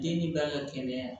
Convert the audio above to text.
Den ni ba ka kɛnɛya